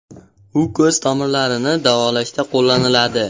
U ko‘z tomirlarini davolashda qo‘llaniladi.